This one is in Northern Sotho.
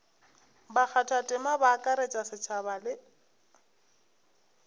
bakgathatema ba akaretša setšhaba le